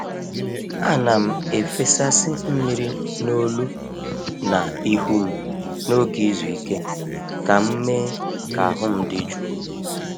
A na'm efesasị mmiri n’olu na ihu m n’oge izu ike ka m mee ka ahụ m dị jụụ.